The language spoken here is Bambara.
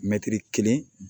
Mɛtiri kelen